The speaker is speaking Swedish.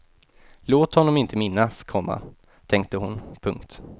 Låt honom inte minnas, komma tänkte hon. punkt